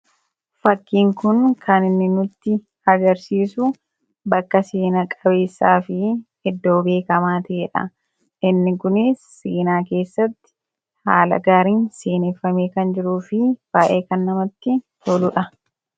fakkiin kun kan inni nutti agarsiisu bakka seenaa qabeessaa fi eddoo beekamaa ta'ee dha inni kunis seenaa keessatti haala gaariin seeneeffamee kan jiruu fi baay'ee kan namatti toluudha